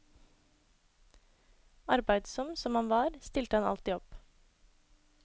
Arbeidsom som han var, stilte han alltid opp.